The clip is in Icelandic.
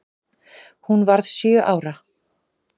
Hún varð sjö ára.